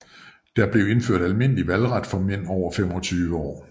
Der blev indført almindelige valgret for mænd over 25 år